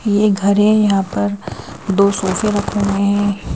ये घर है यहां पर दो सोफे रखे हुए है।